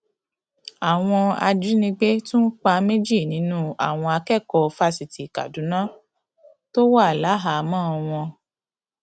àwọn ajínigbé tún pa méjì nínú àwọn akẹkọọ fásitì kaduna tó wà láhàámọ wọn